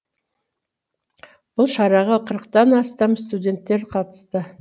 бұл шараға қырықтан астам студенттер қатысты